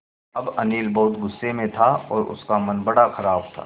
अब अनिल बहुत गु़स्से में था और उसका मन बड़ा ख़राब था